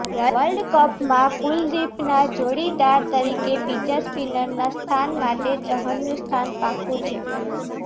વર્લ્ડકપમાં કુલદીપના જોડીદાર તરીકે બીજા સ્પીનરના સ્થાન માટે ચહનનું સ્થાન પાક્કું છે